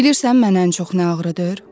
Bilirsən mənə ən çox nə ağrıdır?